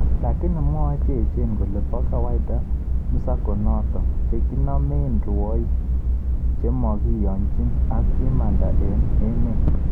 Lakini mwoe cheechen kole po kawaida msako notok, chekinomei rwoik chemokihonjk ak kimanda eng emeet